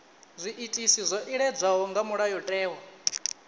zwiitisi zwo iledzwaho nga mulayotewa